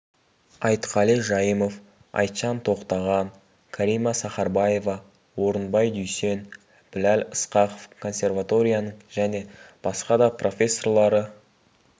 айтқали жайымов айтжан тоқтаған кәрима сахарбаева орынбай дүйсен біләл ысқақов консерваторияның және басқа да профессорлары